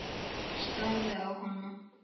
Starði á hana.